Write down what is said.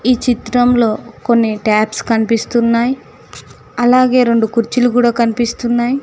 ఈ చిత్రంలో కొన్ని టాప్స్ కనిపిస్తున్నాయ్ అలాగే రెండు కుర్చీలు కూడా కనిపిస్తున్నాయ్.